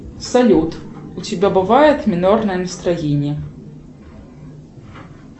салют у тебя бывает минорное настроение